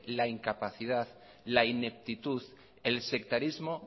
la incapacidad la ineptitud el sectarismo